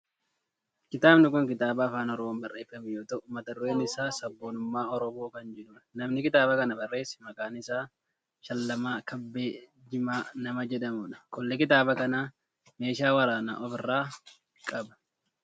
Kitaabni kun kitaaaba afaan oromoon barreeffame yoo ta'u mata dureen isaa sabboonummaa oromoo kan jedhudha. Namni kitaaba kana barreesse maqaan isaa Shallamaa Kabbee jimaa nama jedhamudha. Qolli kitaaba kanaa meeshaa waraanaa of irraa qaba.